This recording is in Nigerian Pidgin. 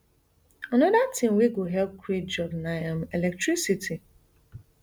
anoda tin wey go help create jobs na um electricity